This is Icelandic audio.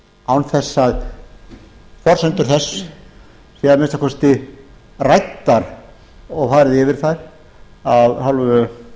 án þess að forsendur þess séu að minnsta kosti ræddar og farið yfir þær af hálfu